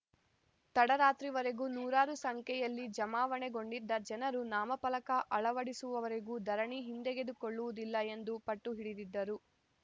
ತಡರಾತ್ರಿವರೆಗೂ ನೂರಾರು ಸಂಖ್ಯೆಯಲ್ಲಿ ಜಮಾವಣೆಗೊಂಡಿದ್ದ ಜನರು ನಾಮಫಲಕ ಅಳವಡಿಸುವವರೆಗೂ ಧರಣಿ ಹಿಂದೆಗೆದುಕೊಳ್ಳುವುದಿಲ್ಲ ಎಂದು ಪಟ್ಟುಹಿಡಿದಿದ್ದರು